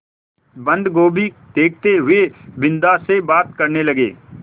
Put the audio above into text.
बन्दगोभी देखते हुए बिन्दा से बात करने लगे